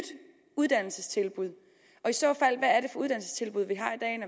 uddannelsestilbud og i så fald